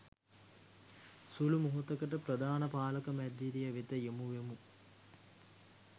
සුළු මොහොතකට ප්‍රධාන පාලක මැදිරිය වෙත යොමුවෙමු